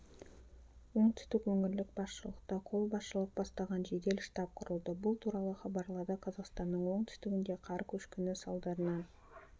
оңтүстік өңірлік басшылықта қолбасшылық бастаған жедел штаб құрылды бұл туралы хабарлады қазақстанның оңтүстігінде қар көшкіні салдарынан